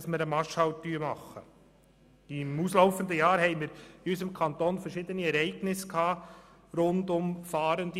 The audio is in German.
Im auslaufenden Jahr kam es in unserem Kanton zu verschiedenen Ereignissen rund um Fahrende.